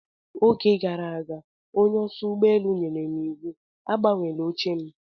Oge gara aga onye oso ụgbọelu nyèrè m iwu agbanweela oche m.